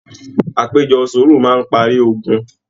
Àpéjọ sùúrù máa n parí ògùn.